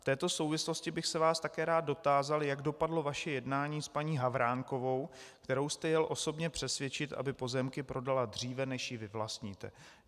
V této souvislosti bych se vás také rád dotázal, jak dopadlo vaše jednání s paní Havránkovou, kterou jste jel osobně přesvědčit, aby pozemky prodala dříve, než ji vyvlastníte.